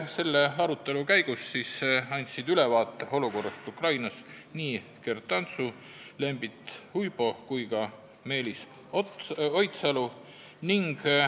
Selle arutelu käigus andsid ülevaate olukorrast Ukrainas Gert Antsu, Lembit Uibo ja ka Meelis Oidsalu.